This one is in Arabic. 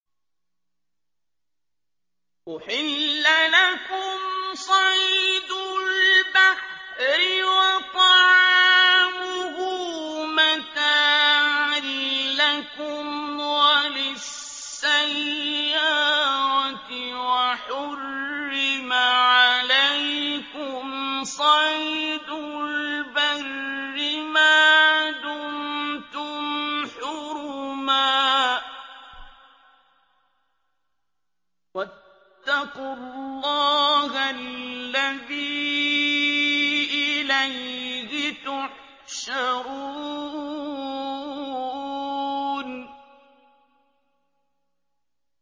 أُحِلَّ لَكُمْ صَيْدُ الْبَحْرِ وَطَعَامُهُ مَتَاعًا لَّكُمْ وَلِلسَّيَّارَةِ ۖ وَحُرِّمَ عَلَيْكُمْ صَيْدُ الْبَرِّ مَا دُمْتُمْ حُرُمًا ۗ وَاتَّقُوا اللَّهَ الَّذِي إِلَيْهِ تُحْشَرُونَ